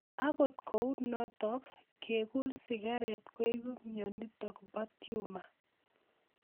Akot kou notok kekul sigaret koipu mionitok po tumor